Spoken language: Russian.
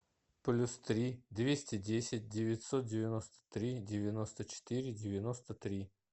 плюс три двести десять девятьсот девяносто три девяносто четыре девяносто три